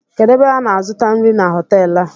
Kedụ ebe ana azụta nri na hotelu a?